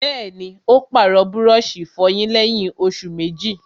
Bẹ́ẹ̀ni, ó pàrọ̀ búrọ̀sì ìfọyín lẹ́yìn òsù méjì